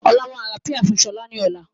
Ọlá máa ra "Pie" fun sọlá ni ọ̀la.